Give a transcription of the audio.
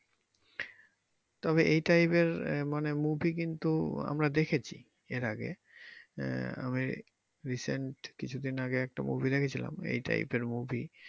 তবে এই type এর আহ মানে movie কিন্তু আমরা দেখেছি এর আগে আহ আমি recent কিছু দিন আগে একটা movie দেছিলাম এই type এর movie